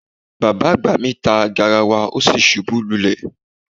Baba agba mi ta garawa o si ṣubu lulẹ